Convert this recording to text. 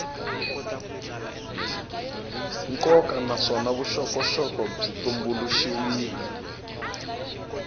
nkoka naswona vuxokoxoko byi tumbuluxiwile